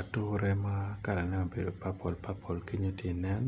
Ature ma kalane obedo papol papol kenyo tye ka nen